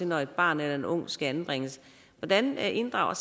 når et barn eller en ung skal anbringes hvordan inddrager